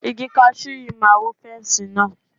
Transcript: Igi kasú yìí máa wó fẹ́nsì náà.